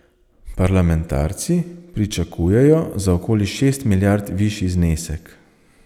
Parlamentarci pričakujejo za okoli šest milijard višji znesek.